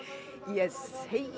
ég